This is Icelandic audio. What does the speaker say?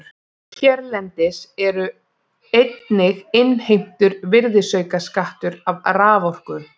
Hérlendis er einnig innheimtur virðisaukaskattur af raforku.